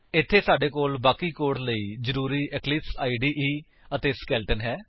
ਇੱਥੇ ਸਾਡੇ ਕੋਲ ਬਾਕੀ ਕੋਡ ਲਈ ਜ਼ਰੂਰੀ ਇਕਲਿਪਸ ਇਦੇ ਅਤੇ ਸਕੇਲੇਟਨ ਹੈ